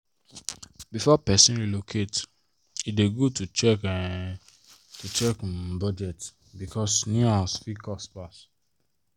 before person relocate e dey good to check um to check um budget because new house fit cost pass.